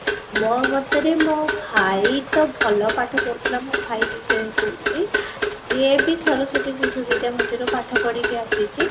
ମୋ ମତରେ ମୋ ଭାଇ ତ ଭଲ ପାଠ ପଢୁ ଥିଲା ମୋ ଭାଇ ବି same ପଢୁଛି ସେ ବି ସରସ୍ଵତୀ ଶିଶୁ ବିଦ୍ୟା ମନ୍ଦିର ରେ ପାଠ ପଢିକି ଆସିଛି